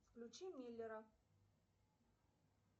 включи миллера